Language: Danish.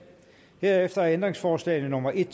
herefter er ændringsforslag nummer en